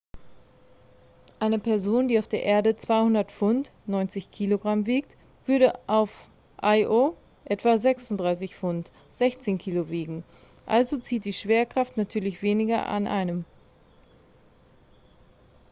eine person die auf der erde 200 pfund 90 kg wiegt würde auf io etwa 36 pfund 16 kg wiegen. also zieht die schwerkraft natürlich weniger an einem